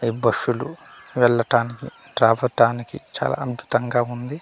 ఈ బస్సులు వెల్లటానికి రావటానికి చాలా అంతటంగా ఉంది.